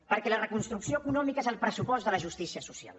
perquè la reconstrucció econòmica és el pressupost de la justícia social